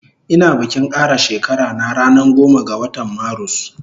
Ina bikin kara shekara na ranan goma ga watan marus